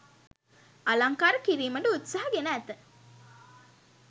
අලංකාර කිරීමට උත්සාහ ගෙන ඇත.